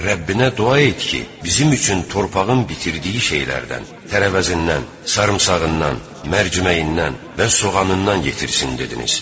Rəbbinə dua et ki, bizim üçün torpağın bitirdiyi şeylərdən tərəvəzindən, sarımsağından, mərciməyindən və soğanından yetirsin dediniz.